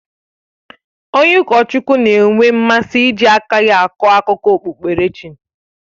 Onye ụkọchukwu na-enwe mmasị iji aka ya akọ akụkọ okpukperechi.